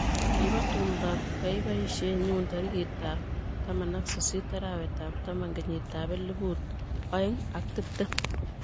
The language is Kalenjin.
kibo tumdob kaibisie nyu tarikitab taman ak sisit arawetab taman, kenyitab elput oeng' ak tiptem.